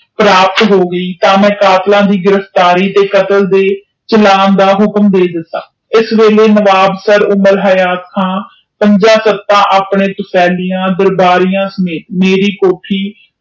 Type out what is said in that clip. ਪ੍ਰਾਪਤ ਹੋ ਗੁਏ ਤੇ ਮੈਂ ਕਾਤਿਲਾਂ ਦੇ ਗਿਰਫਤਾਰੀ ਤੇ ਕਤਲ ਦੇ ਬਖਲਾਫ਼ ਦੇ ਲਾਇ ਪੰਜੇ ਤਖਤ ਆਪਣੇ ਚ ਲੈ ਗਿਆ।